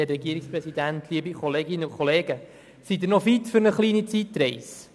Sind Sie noch fit für eine kleine Zeitreise?